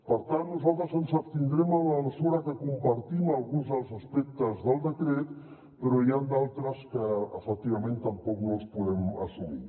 per tant nosaltres ens abstindrem en la mesura que compartim alguns dels aspectes del decret però n’hi ha d’altres que efectivament tampoc no els podem assumir